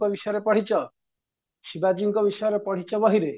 ଙ୍କ ବିଷୟରେ ପଢିଛ ଶିବାଜୀଙ୍କ ବିଷୟରେ ପଢିଛ ବହିରେ